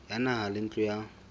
ya naha le ntlo ya